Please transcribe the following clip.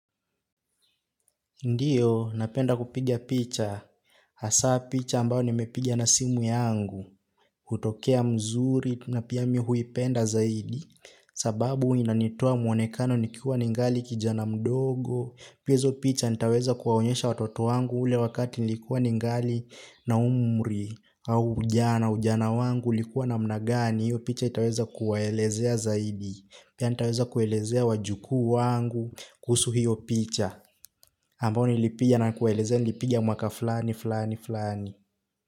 Ndiyo, napenda kupiga picha, hasa picha ambao nimepiga na simu yangu, hutokea mzuri, na pia mi huipenda zaidi, sababu inanitoa mwonekano nikiwa ningali kijana mdogo, pia hizo picha nitaweza kuwaonyesha watoto wangu ule wakati nilikuwa ningali na umri, au ujana, ujana wangu ulikuwa namna gani, hiyyo picha itaweza kuwaelezea zaidi, pia nitaweza kuelezea wajukuu wangu, kuhusu hiyo picha. Ambayo nilipiga na kuwaelezea nilipiga mwaka fulani fulani fulani.